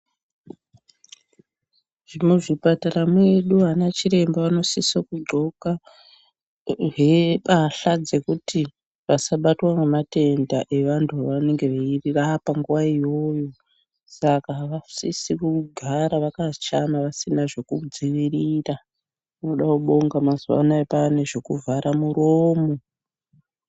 Muzvipatara zvedu ana chiremba anosise kundhxoka mbatya dzekuti vasabatwa nematenda evandu vavanenge veirapa nguwa iyoyo Saka avasviki kugara vasina kudzivirira tinoda kubonga mazuva anawa kwane zvekuvhara muromo.